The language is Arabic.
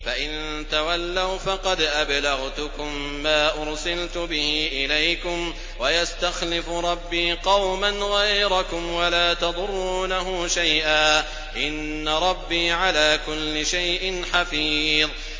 فَإِن تَوَلَّوْا فَقَدْ أَبْلَغْتُكُم مَّا أُرْسِلْتُ بِهِ إِلَيْكُمْ ۚ وَيَسْتَخْلِفُ رَبِّي قَوْمًا غَيْرَكُمْ وَلَا تَضُرُّونَهُ شَيْئًا ۚ إِنَّ رَبِّي عَلَىٰ كُلِّ شَيْءٍ حَفِيظٌ